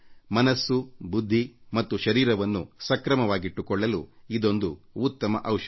ಮನಸ್ಸು ಬುದ್ಧಿ ಮತ್ತು ಶರೀರವನ್ನು ಸುಸ್ಥಿತಿಯಲ್ಲಿಟ್ಟುಕೊಳ್ಳಲು ಇದೊಂದು ಉತ್ತಮ ಔಷಧ